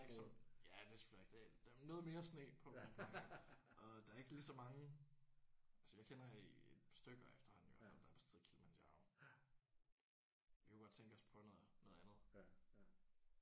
Ja det er selvfølgelig rigtigt. Noget mere sne på Mont Blanc og der er ikke lige så mange altså jeg kender et par stykker efterhånden i hvert fald der har besteget Kilimanjaro. Vi kunne godt tænke os at prøve noget noget andet